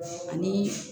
Ani